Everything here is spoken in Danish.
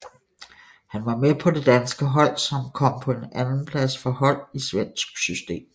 Han var med på det danske hold som kom på en andenplads for hold i svensk system